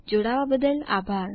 જોડાવા બદ્દલ આભાર